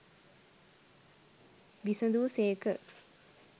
විසඳු සේක.